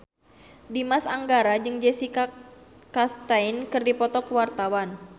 Dimas Anggara jeung Jessica Chastain keur dipoto ku wartawan